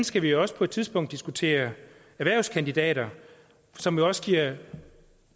skal vi jo også på et tidspunkt diskutere erhvervskandidater som jo også giver